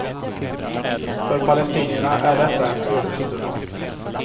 För palestinierna är detta en ödesstund.